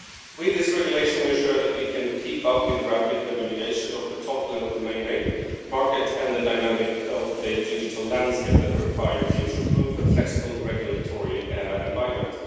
With this regulation we ensure that we can keep up with the rapid evaluation of the top-level domain name market and the dynamics of the digital landscape that require a future-proof and flexible regulatory environment.